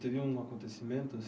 Teve um acontecimento?